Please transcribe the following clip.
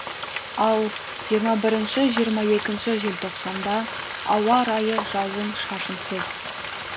ал жиырма бірінші жиырма екінші желтоқсанда ауа райы жауын шашынсыз